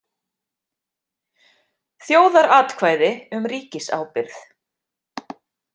Þjóðaratkvæði um ríkisábyrgð